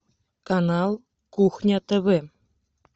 канал кухня тв